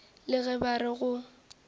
le ge ba re go